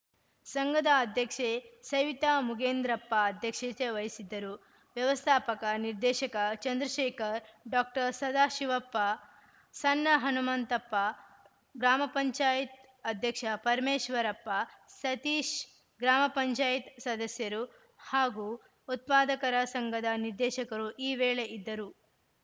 ಸಂಘದ ಅಧ್ಯಕ್ಷೆ ಸವಿತಾ ಮುಗೇಂದ್ರಪ್ಪ ಅಧ್ಯಕ್ಷತೆ ವಹಿಸಿದ್ದರು ವ್ಯವಸ್ಥಾಪಕ ನಿರ್ದೇಶಕ ಚಂದ್ರಶೇಖರ್‌ ಡಾಕ್ಟರ್ ಸದಾಶಿವಪ್ಪ ಸಣ್ಣ ಹನುಮಂತಪ್ಪ ಗ್ರಾಮ ಪಂಚಾಯತ್ ಅಧ್ಯಕ್ಷ ಪರಮೇಶ್ವರಪ್ಪ ಸತೀಶ್‌ ಗ್ರಾಮ ಪಂಚಾಯತ್ ಸದಸ್ಯರು ಹಾಗೂ ಉತ್ಪಾದಕರ ಸಂಘದ ನಿರ್ದೇಶಕರು ಈ ವೇಳೆ ಇದ್ದರು